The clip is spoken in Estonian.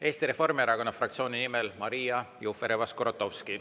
Eesti Reformierakonna fraktsiooni nimel Maria Jufereva-Skuratovski.